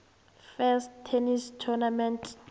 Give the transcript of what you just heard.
first tennis tournament